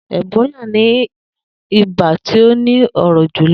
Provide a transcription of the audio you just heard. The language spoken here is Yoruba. Ebólà ni ibà tó ni óró jú